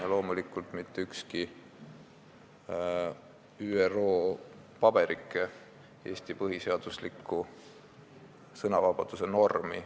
Ja loomulikult ei sea mitte ükski ÜRO paberike küsimuse alla Eesti põhiseaduslikku sõnavabaduse normi.